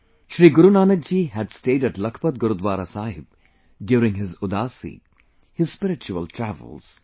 Shri Guru Nanak ji had stayed at Lakhpat Gurudwara Sahib during his Udaasi, his spiritual travels